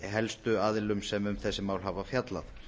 helstu aðilum sem um þessi mál hafa fjallað